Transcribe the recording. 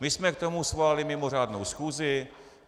My jsme k tomu svolali mimořádnou schůzi.